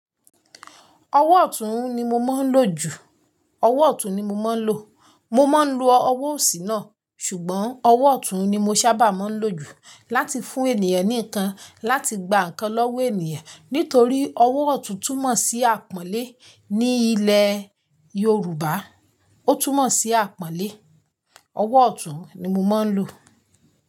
Ọwọ́ ọ̀tún ni mo máa ń lò jù. Ọwọ́ ọ̀tún ni mo máa ń lò. Mo máa ń lo ọwọ́ òsì náà, ṣùgbọ́n ọwọ́ ọ̀tún ni mo sábà máa ń lò jù láti fún ènìyàn ní ǹkan, láti gba ǹkan lọ́wọ́ ènìyàn nítorí ọwọ́ ọ̀tún túmọ̀ sí àpọ́nlé ní ilẹ̀ Yorùbá. Ó túmọ̀ sí àpọ́nlé. Ọwọ́ ọ̀tún ni mo máa ń lò.